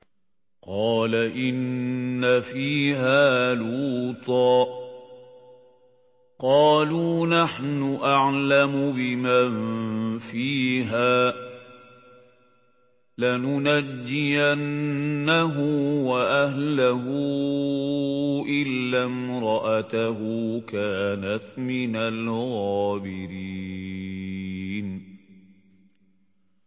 قَالَ إِنَّ فِيهَا لُوطًا ۚ قَالُوا نَحْنُ أَعْلَمُ بِمَن فِيهَا ۖ لَنُنَجِّيَنَّهُ وَأَهْلَهُ إِلَّا امْرَأَتَهُ كَانَتْ مِنَ الْغَابِرِينَ